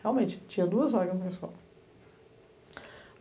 Realmente, tinha duas vagas na escola.